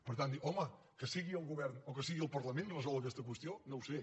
per tant dir home que sigui el govern o que sigui el parlament resol aquesta qüestió no ho sé